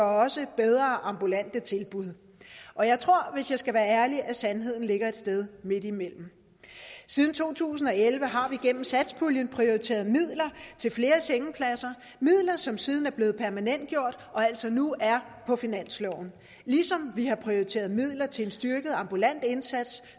også bedre ambulante tilbud og jeg tror hvis jeg skal være ærlig at sandheden ligger et sted midtimellem siden to tusind og elleve har vi gennem satspuljen prioriteret midler til flere sengepladser midler som siden er blevet permanentgjort og altså nu er på finansloven ligesom vi har prioriteret midler til en styrket ambulant indsats